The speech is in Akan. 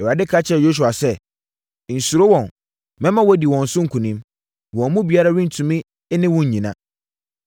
Awurade ka kyerɛɛ Yosua sɛ, “Nnsuro wɔn; mɛma woadi wɔn so nkonim. Wɔn mu biara rentumi ne wo nnyina.”